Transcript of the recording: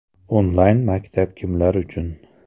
Onlayn-maktab kimlar uchun?